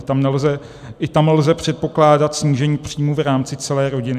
I tam lze předpokládat snížení příjmů v rámci celé rodiny.